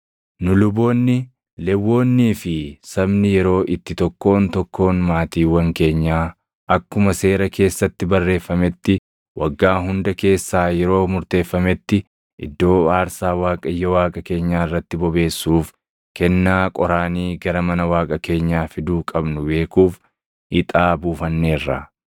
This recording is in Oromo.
“Nu, luboonni, Lewwonnii fi sabni yeroo itti tokkoon tokkoon maatiiwwan keenyaa akkuma Seera keessatti barreeffametti waggaa hunda keessaa yeroo murteeffametti iddoo aarsaa Waaqayyo Waaqa keenyaa irratti bobeessuuf kennaa qoraanii gara mana Waaqa keenyaa fiduu qabnu beekuuf ixaa buufanneerra.